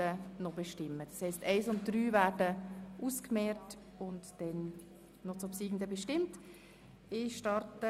3.f Personal Reduktion der Verwaltungsstellen mit Schwergewicht bei den höheren Gehaltsklassen in allen Direktionen bis 2021 um 3 %.